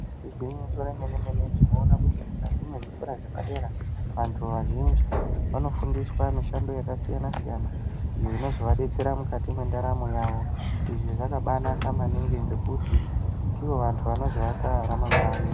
Igwinyiso remene-mene. Tinoona kuti mukati mwezvikora zvepadera vantu vazhinji vanofundiswa mishando yakasiyana -siyana iyo inozovadetsera mukati mwendaramo yavo. Izvi zvakabanaka maningi ngekuti ndivo vantu vanozoaka ramangwani.